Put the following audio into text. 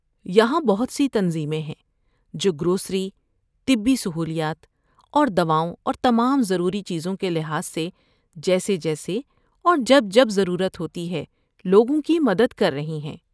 یہاں بہت سی تنظیمیں ہیں جو گروسری، طبی سہولیات اور دواؤں اور تمام ضروری چیزوں کے لحاظ سے جیسے جیسے اور جب جب ضرورت ہوتی ہے لوگوں کی مدد کر رہی ہیں۔